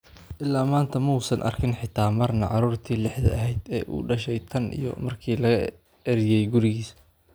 "Illaa maanta, ma uusan arkin xitaa marna caruurtii lixda ahayd ee uu dhashay tan iyo markii laga eryay gurigiisa."